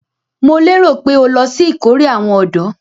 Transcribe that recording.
Mo lérò pé o lọ sí ìkórè àwọn ọ̀dọ́?